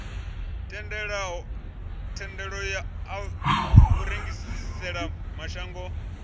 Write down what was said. thendelo ya u rengisela mashango